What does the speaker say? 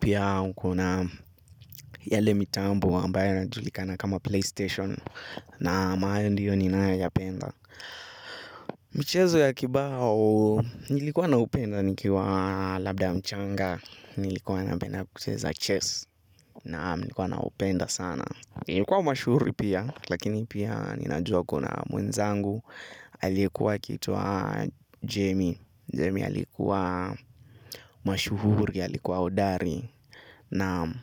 Pia kuna yale mitambo ambayo yanajulikana kama play station na ambayo ndiyo ninayoyapenda. Mchezo ya kibao nilikuwa naupenda nikiwa labda mchanga. Nilikuwa napenda kucheza chess na nikuwa naupenda sana. Nikuwa mashuhuri pia lakini pia ninajua kuna mwenzangu alikuwa akiitwa Jemi. Jemi alikuwa mashuhuri, alikuwa hodari, naam.